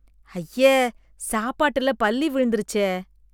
ஐய, சாப்பாட்டுல பல்லி விழுந்துடுச்சே